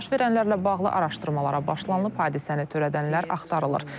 Baş verənlərlə bağlı araşdırmalara başlanılıb, hadisəni törədənlər axtarılır.